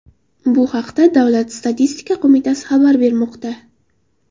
Bu haqda Davlat statistika qo‘mitasi xabar bermoqda .